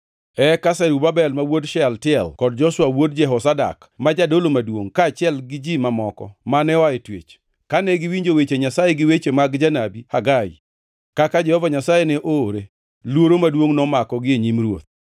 Eka Zerubabel ma wuod Shealtiel kod Joshua wuod Jehozadak, ma jadolo maduongʼ, kaachiel gi ji mamoko mane oa e twech, kane giwinjo weche Nyasaye gi weche mag janabi Hagai, kaka Jehova Nyasaye ne oore, luoro maduongʼ nomakogi e nyim Ruoth.